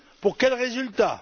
Pour quels résultats?